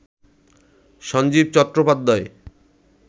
Sanjeev Chattopadhyay